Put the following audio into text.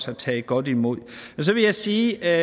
har taget godt imod og så vil jeg sige at